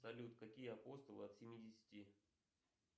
салют какие апостолы от семидесяти